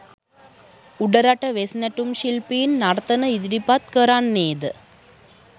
උඩරට වෙස් නැටුම් ශිල්පීන් නර්තන ඉදිරිපත් කරන්නේ ද